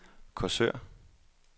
Korsør